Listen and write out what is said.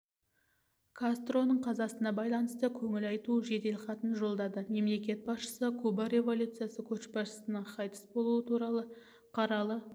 кастроның қазасына байланысты көңіл айту жеделхатын жолдады мемлекет басшысы куба революциясы көшбасшысыныңқайтыс болуы туралы қаралы